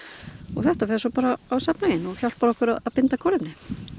þetta fer svo bara á safnhauginn og hjálpar okkur að binda kolefni